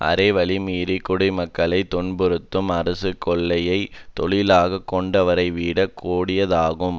அறவழி மீறிக் குடிமக்களைத் துன்புறுத்தும் அரசு கொலையைத் தொழிலாகக் கொண்டவரைவிடக் கோடியதாகும்